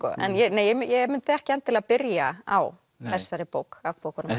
nei ég mundi ekki endilega byrja á þessari bók af bókunum